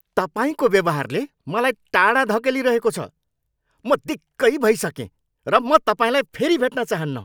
तपाईँको व्यवहारले मलाई टाढा धकेलिरहेको छ। मलाई दिक्कै भइसकेँ र म तपाईँलाई फेरि भेट्न चाहन्न!